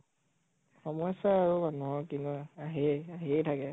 সমস্যা আৰু মানুহৰ আহেয়ে আহিয়ে থাকে